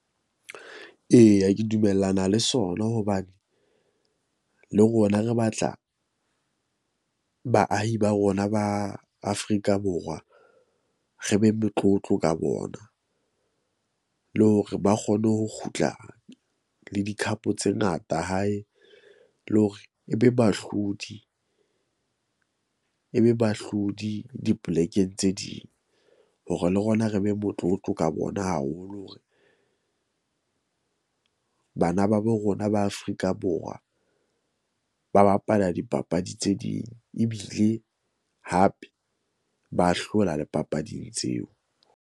Eya, ke dumellana le sona hobane le rona re batla baahi ba rona ba Afrika Borwa re be motlotlo ka bona. Le hore ba kgone ho kgutla le di-Cup tse ngata hae le hore e be bahlodi, e be bahlodi di-plek-eng tse ding, hore le rona re be motlotlo ka bona haholo hore bana ba bo rona ba Afrika Borwa ba bapala dipapadi tse ding. Ebile hape ba hlola le papading tseo.